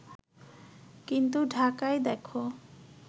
কিন্তু ঢাকায় দেখো